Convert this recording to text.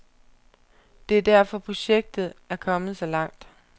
Det er derfor projektet er kommet så langt.